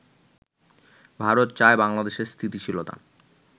ভারত চায় বাংলাদেশে স্থিতিশীলতা